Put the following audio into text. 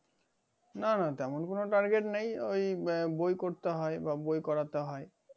না না তেমন কোনো target নেই ওই বই করতে হয় বা বই করতে হয়